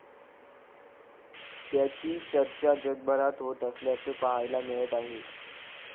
त्याची चर्चा जगभरात होत असल्याचं पाहायला मिळत आहे.